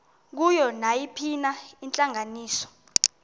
kuyo nayiphina intlanganiso